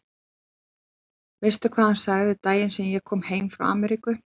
Veistu hvað hann sagði daginn sem ég kom heim frá Ameríku?